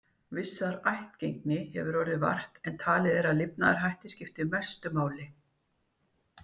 Vissrar ættgengi hefur orðið vart, en talið er að lifnaðarhættir skipti mestu máli.